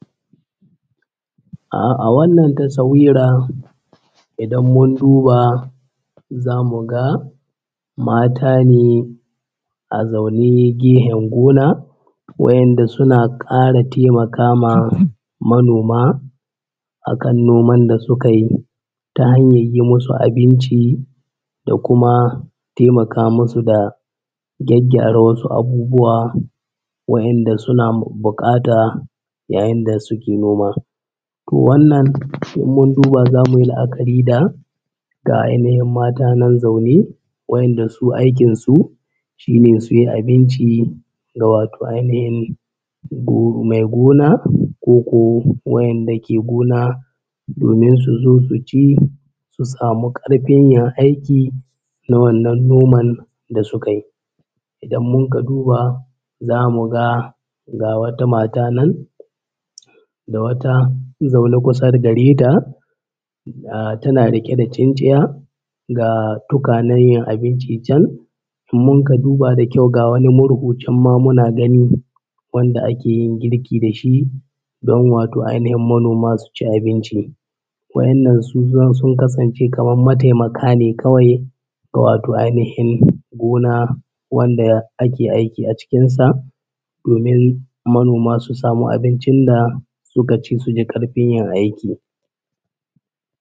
Ah a wannan tasawira idan mun duba za mu ga mata ne a zaune gehen gona wa’inda suna ƙara taimaka ma manoma akan noman da suka yi, ta hanyar yi masu abinci da kuma taimaka masu da gyaggyara wasu abubuwa wa’inda suna buƙata yayin da suke noma. Toh wannan in mun duba za mu yi la’akari da ga ainihin mata nan zaune wa’inda su aikin su shine su yi abinci ga wato ainihin go mai gona koko wa’inda ke gona domin su zo su ci su samu ƙarfin yin aiki na wannan noman da suka yi. Idan mun ka duba za mu ga ga wata mata nan da wata zaune kusa gare ta ah tana riƙe da tsintsiya ga tukwanen yinabinci can in mun ka duba da kyau ga wani murhu can ma muna gani wanda ake yin girki da shi don wato ainihin manoma su ci abinci. Wa’innan sun kasance kamar mataimaka ne kawai wato ainihin gona wanda ake aiki a cikin sa domin manoma su samu abincin da suka ci su ji ƙarfin yin aiki.